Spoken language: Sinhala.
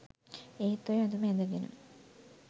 ඒත් ඔය ඇදුම ඇදගෙන